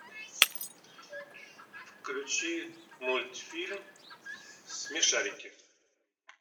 включи мультфильм смешарики